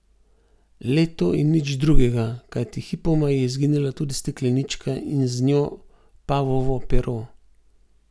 Le to in nič drugega, kajti hipoma je izginila tudi steklenička in z njo pavovo pero.